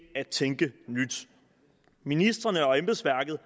at tænke nyt ministrene og embedsværket